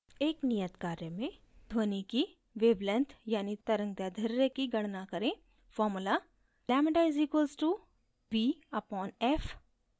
एक नियत कार्य में ध्वनि की wavelength यानि तरंगदैर्ध्य की गणना करें formula: λ = v/f lambda = v upon f